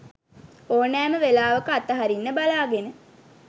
ඕනෑම වෙලාවක අත හරින්න බලාගෙන.